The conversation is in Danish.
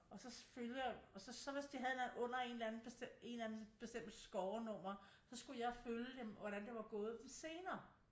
Og så følger og så hvis de havde under en eller anden bestemt scorenummer så skulle jeg følge dem og hvordan det var gået dem senere